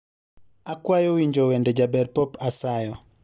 Akwayo winjo wende jaber Pop asayo